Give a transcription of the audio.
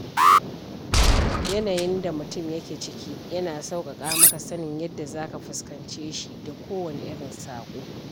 Yanayin da mutum ya ke ciki yana sauƙaƙa maka sanin yadda zaka fuskance shi da kowane irin saƙo.